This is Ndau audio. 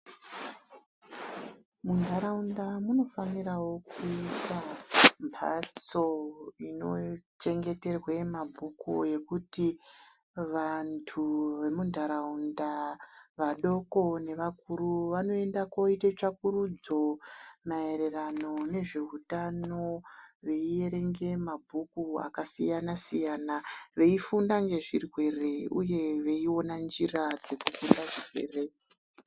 Muntaraunda munofanirawo kuita mphatso inochengeterwe mabhuju yokuti vantu emuntaraunda vadoko nevakuru vanoenda koite tsvakurudzo maererano nezveutano veierenge mabhuku akasiyana siyana veifunda nezvirwere uye veiona njira dzekukunda zverwere.